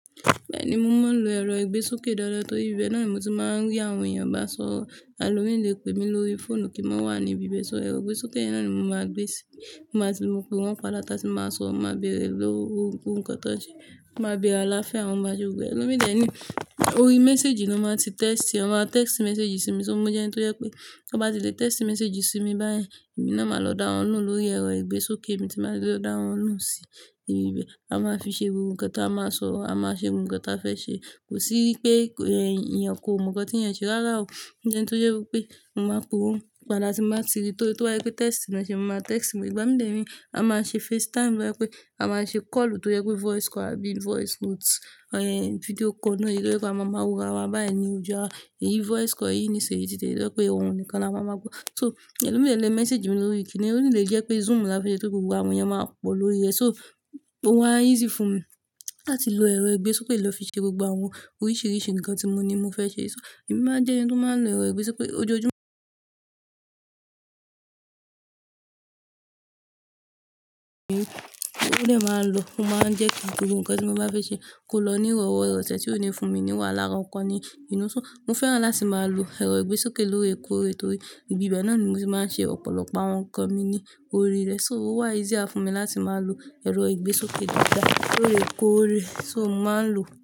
Bẹ́ẹ̀ni, mo máa ń lo ẹ̀rọ ìgbésókè dáadáa torí ibi bẹ́ẹ̀ náà ni mo ti máa ń rí àwọn èèyàn bá sọ̀rọ̀. Ẹlọ́mì lẹ pé mi lórí fóònù kí n máa wà ní ibi ibẹ́ ṣọ́ ẹ̀rọ ìgbésókè yẹ náà ni mo máa gbé síi. Mo máa ti lo pé wọ́n padà tá tí máa sọ, máa bërẹè lọ́wọ́, ohun kan tán nṣe, máa bërẹè alááfía wọn mò maa ṣé gbogbo e. Ẹ̀lọ́mì dẹ ní, orí message ló máa ti text ẹ, wọn máa text message sí mi. Ṣó mọ je ẹni tó jẹ pé kí wọ́n ba ti lè text message sí mi báyẹn, èmi náà máa lọ dá wọn lohùn lórí ẹ̀rọ ìgbésókè mi tí máa ṣe lọ dá wọn nù sí ibi bẹ́ẹ̀. A máa fi ṣe gbogbo nkan táa máa sọ̀rọ̀, a máa ṣe gbogbo nkan táa fẹ́ ṣe. Kò sí pé èèyàn kò mọ nǹkan tí ẹ̀yin ṣe rárá o. Mó jẹ́ ẹni tó jẹ wipé mo máa pe wọ́n padà tí mba ti rí tó bá jẹ pé text ni ẹ ṣe, mo máa text. Ìgbà mí dère, a máa ṣe FaceTime bóyá pé a máa ṣe call tó jẹ pé voice call àbí voice notes, video call náà eyí tó jẹ pé a máa wo ara wa báyẹn ní ojú ara. Èyí voice call yìí ní ìṣeré títí ẹ yẹ pé ohun nìkan la máa mọ̀. So, ẹ̀lọ́mì lẹ message mi lórí kíni, ó lè jẹ́ pé Zoom la fẹ́ ṣe tó gbogbo àwọn èèyàn máa pọ̀ lórí rẹ. So, ó wà easy fún mi láti lo ẹ̀rọ ìgbésókè lọ fi ṣe gbogbo àwọn oríṣìíríṣìí ǹkan tí mo ní mo fẹ́ ṣe. So, èmi máa jẹ́ ẹni tó máa ń lo ẹ̀rọ ìgbésókè ojojúmọ́. Ó lè máa ń lo, mo máa ń jẹ́ kí gbogbo ǹkan tí mo bá fẹ́ ṣe kó lọ ní ìrọ̀wọ́ ìrọ̀sẹ̀ tí ó ni fún mi níwà lára nǹkan ni inú. So, mo fẹ́ràn láti máa lo ẹ̀rọ ìgbésókè lóòrèkóòrè torí ibi bẹ́ẹ̀ náà ni mo ti máa ń ṣe ọ̀pọ̀lọpọ̀ àwọn ǹkan mi ní orí rẹ̀. So, ó wà easier fún mi láti máa lo ẹ̀rọ ìgbésókè dáadáa lóòrèkóòrè. So, mo máa ń lò.